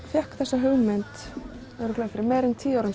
fékk þessa hugmynd fyrir meira en tíu árum